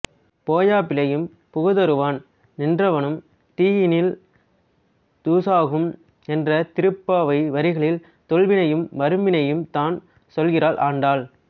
போய பிழையும் புகுதருவான் நின்றனவும் தீயினில் தூசாகும் என்ற திருப்பாவை வரிகளில் தொல்வினையையும் வரும் வினையையும் தான் சொல்கிறாள் ஆண்டாள்